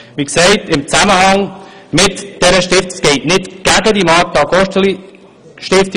Mein Votum richtet sich ganz klar nicht gegen die GosteliStiftung.